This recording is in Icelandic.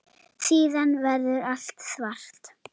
Síðan verður allt svart.